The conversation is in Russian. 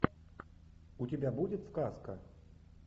у тебя будет сказка